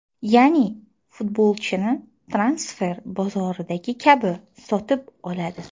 Ya’ni, futbolchini transfer bozoridagi kabi sotib oladi.